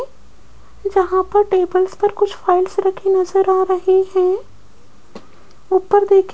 जहां पर टेबल्स पर कुछ फाइल्स रखी नजर आ रही हैं ऊपर देखें --